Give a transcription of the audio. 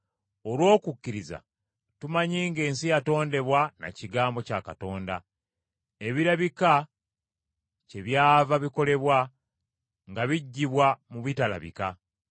Olw’okukkiriza tumanyi ng’ensi yatondebwa na kigambo kya Katonda, ebirabika kyebyava bikolebwa nga biggibwa mu bitalabika.